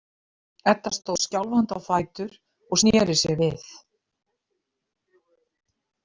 Edda stóð skjálfandi á fætur og sneri sér við.